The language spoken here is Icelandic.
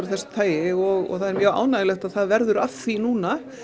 þessu tagi og það mjög ánægjulegt að það verði af því núna